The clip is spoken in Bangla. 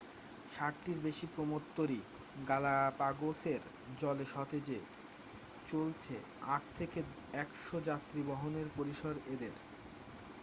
60টির বেশী প্রমোদ তরী গালাপাগোসের জলে সতেজে চলছে-8 থেকে 100 যাত্রী বহনের পরিসর এদের